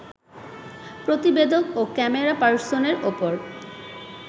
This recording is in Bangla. প্রতিবেদক ও ক্যামেরাপার্সনের ওপর